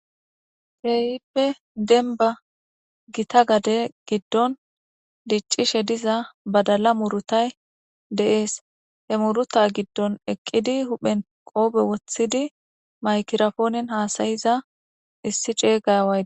Keehippe demba Gita gade gidon dicishe diza badala murutay de'es he muruta gidon eqid huphen qope wothid makiraponen hasa'iza issi ceda away